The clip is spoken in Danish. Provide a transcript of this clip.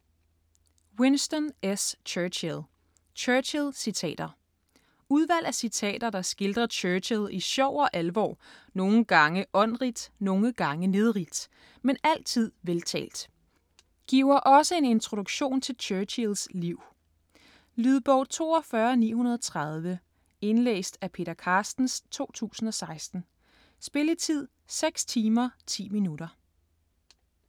Churchill, Winston S.: Churchill citater Udvalg af citater, der skildrer Churchill i sjov og alvor, nogle gange åndrigt, nogle gange nedrigt, men altid veltalt. Giver også en introduktion til Churchills liv. Lydbog 42930 Indlæst af Peter Carstens, 2016. Spilletid: 6 timer, 10 minutter.